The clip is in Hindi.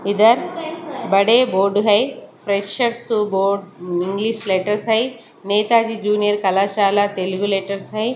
इधर बड़े बोर्ड है प्रेसर सो गॉड इंग्लिश लैटर है नेताजी जूनियर कलाशाला तेलुगु लेटर्स हैं।